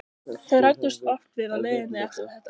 Þeir ræddust oft við á leiðinni eftir þetta.